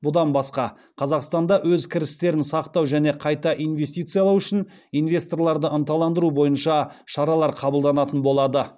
бұдан басқа қазақстанда өз кірістерін сақтау және қайта инвестициялау үшін инвесторларды ынталандыру бойынша шаралар қабылданатын болады